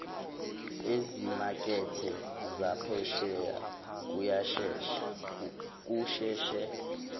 ezimakethe zaphesheya kusheshe